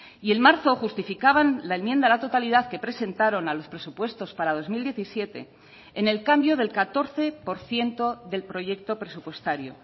y en marzo justificaban la enmienda a la totalidad que presentaron a los presupuestos para dos mil diecisiete en el cambio del catorce por ciento del proyecto presupuestario